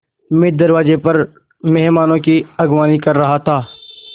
मैं दरवाज़े पर मेहमानों की अगवानी कर रहा था